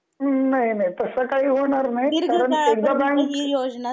नाही नाही तस कशी होणार नाही कारण एकदा